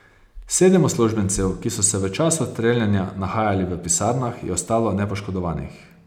Sedem uslužbencev, ki so se v času streljanja nahajali v pisarnah, je ostalo nepoškodovanih.